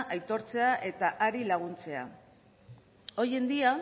aitortzea eta hari laguntzea hoy en día